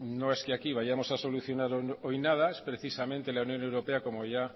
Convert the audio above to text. no es que aquí vayamos a solucionar hoy nada es precisamente la unión europea como ya